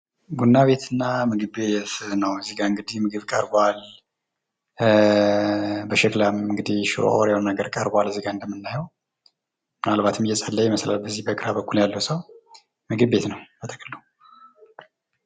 ቡና ቤትና ምግብ ቤት ነው እዚህ ጋር እንግዲህ ምግብ ቀርቧል። በሸክላም እንግድህ ሽሮ የሆነ ነገር ቀርቧል እዚህጋ እንደምናየው። ምናልባትም እየጸለየ ይመስላል በዚህ በቃ በኩል ያለው ሰው። ምግብ ቤት ነው በጥቅሉ።